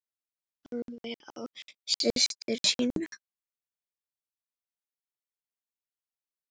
Heiða horfði á systur sína.